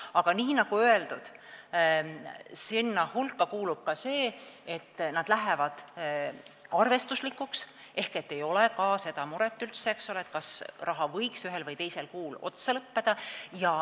Aga nagu öeldud, sinna hulka kuulub ka see, et see muutub arvestuslikuks ehk ei ole seda muret, kas raha võiks ühel või teisel kuul otsa lõppeda.